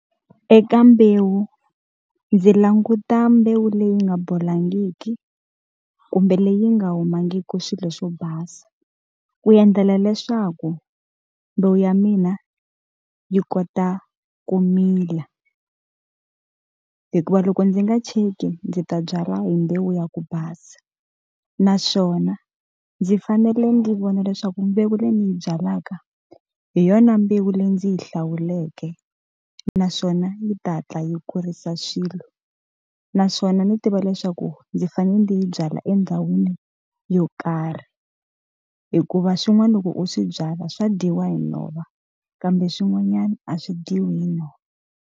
Eka mbewu ndzi languta mbewu leyi nga bolangiki, kumbe leyi nga humangiki swilo swo basa. Ku endlela leswaku mbewu ya mina yi kota ku mila. Hikuva loko ndzi nga cheki ndzi ta byala hi mbewu ya ku basa. Naswona ndzi fanele ndzi vona leswaku mbewu leyi ndzi yi byalaka, hi yona mbewu leyi ndzi yi hlawuleke naswona yi ta hatla yi kurisa swilo. Naswona ndzi tiva leswaku ndzi fanele ndzi yi byala endhawini yo karhi. Hikuva swin'wana loko u swi byala swa dyiwa hi nhova, kambe swin'wanyana a swi dyiwi hi nhova.